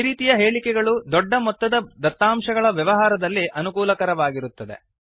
ಈ ರೀತಿಯ ಹೇಳಿಕೆಗಳು ದೊಡ್ಡ ಮೊತ್ತದ ದತ್ತಾಂಶಗಳ ವ್ಯವಹಾರದಲ್ಲಿ ಅನುಕೂಲಕರವಾಗಿರುತ್ತವೆ